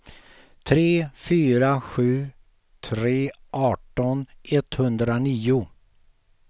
tre fyra sju tre arton etthundranio